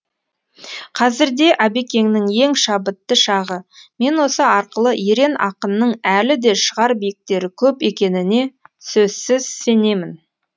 қазірде әбекеңнің ең шабытты шағы мен осы арқалы ерен ақынның әлі де шығар биіктері көп екеніне сөзсіз сенемін